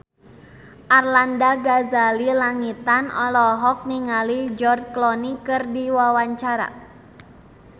Arlanda Ghazali Langitan olohok ningali George Clooney keur diwawancara